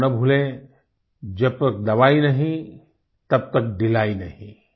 और हम ना भूलें जब तक दवाई नहीं तब तक ढ़िलाई नहीं